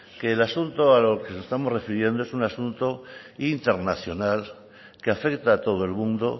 que el asunto al que nos estamos refiriendo es un asunto internacional que afecta a todo el mundo